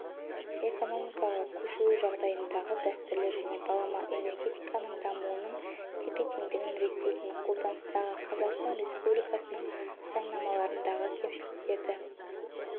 экономикаға көшуі жағдайындағы дәстүрлі және балама энергетиканың дамуының тепе-теңдігін реттейтін қолданыстағы қазақстан республикасының заңнамаларындағы кемшіліктерді